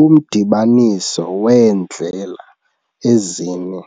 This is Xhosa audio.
Umdibaniso weendlela ezine